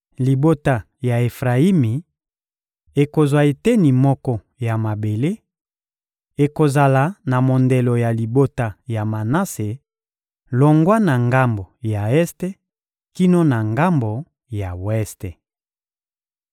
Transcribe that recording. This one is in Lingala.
Libota ya Efrayimi ekozwa eteni moko ya mabele: ekozala na mondelo ya libota ya Manase, longwa na ngambo ya este kino na ngambo ya weste.